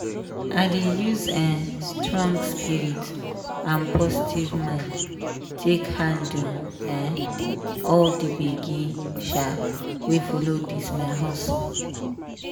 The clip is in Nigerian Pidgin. i dey use um strong spirit and positive mind take handle um all the gbege um wey follow this my hustle.